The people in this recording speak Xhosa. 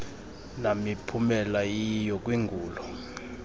namiphumela iyiyo kwingulo